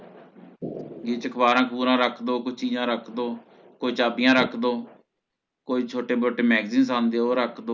ਇਹ ਚ ਅਖਬਾਰਾਂ ਅਖਬੁਰਾ ਰੱਖ ਦੋ ਕੋਈ ਚੀਜ਼ਾਂ ਰੱਖ ਦੋ ਕੋਈ ਚਾਬੀਆਂ ਰੱਖ ਦੋ ਕੋਈ ਛੋਟੇ ਮੋਟੇ Magzines ਆਉਂਦੇ ਆ ਉਹ ਰੱਖ ਦੋ